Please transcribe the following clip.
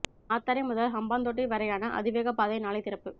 மாத்தறை முதல் ஹம்பாந்தோட்டை வரையான அதிவேக பாதை நாளை திறப்பு